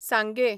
सांगें